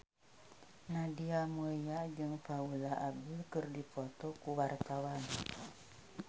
Nadia Mulya jeung Paula Abdul keur dipoto ku wartawan